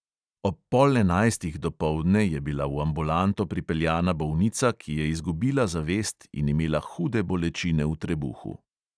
Ob pol enajstih dopoldne je bila v ambulanto pripeljana bolnica, ki je izgubila zavest in imela hude bolečine v trebuhu.